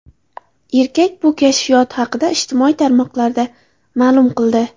Erkak bu kashfiyoti haqida ijtimoiy tarmoqlarda ma’lum qildi.